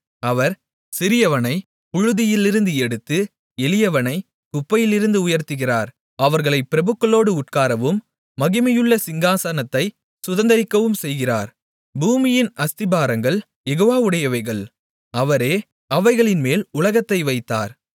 அவர் சிறியவனைப் புழுதியிலிருந்து எடுத்து எளியவனைக் குப்பையிலிருந்து உயர்த்துகிறார் அவர்களைப் பிரபுக்களோடு உட்காரவும் மகிமையுள்ள சிங்காசனத்தைச் சுதந்தரிக்கவும் செய்கிறார் பூமியின் அஸ்திபாரங்கள் யெகோவாவுடையவைகள் அவரே அவைகளின்மேல் உலகத்தை வைத்தார்